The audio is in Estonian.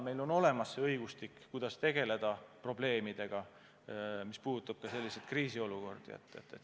Meil on olemas õigustik, kuidas tegeleda probleemidega, mis tulenevad kriisiolukordadest.